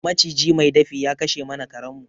Maciji mai dafi ya kashe mana karen mu